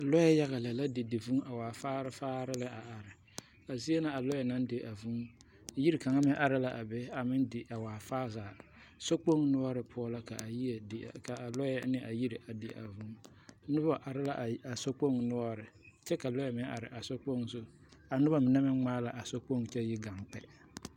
lure yage la a didi vūū kyɛ ka mine waa faare faare lɛ are a zie na a lure naŋ di a vūū yiri kang meŋ are la a be di a waa faa zaa sokpoŋ noɔre poɔ la ka alure ne a yiri di a vūū noba are la a sokpoŋ noɔre kyɛ lure meŋ are a sokpoŋ zu a noba mine meŋ gmaa la a sokpoŋ kyɛ yi gang kpe .